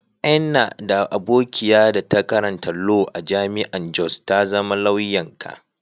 N'na da abokiya da ta karanta Lau a'jami'an Jos. Ta zama lauya'n ka.